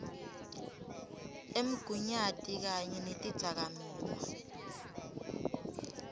emgunyati kanye netidzakamiva